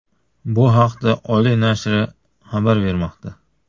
Bu haqda Ole nashri xabar bermoqda .